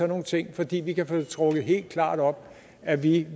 nogle ting fordi vi kan få det trukket helt klart op at vi